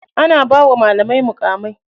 Ana bawa malamai muƙamai.